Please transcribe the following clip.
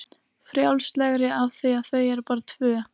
Frjálslegri af því að þau eru bara tvö.